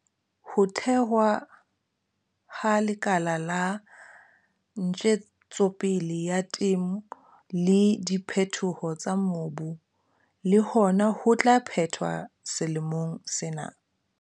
Ho thewa ha Lekala la Ntjetsopele ya Temo le Diphetoho tsa Mobu le hona ho tla phethwa selemong sena.